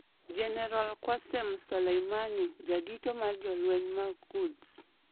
Jenerol Qassem Soleimani, jadito mar Jolweny mag Quds